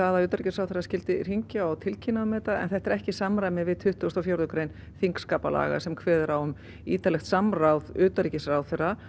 að utanríkisráðherra skyldi hringja og tilkynna um þetta en þetta er ekki í samræmi við tuttugustu og fjórðu grein þingskaparlaga sem kveður á um ítarlegt samráð utanríkisráðherra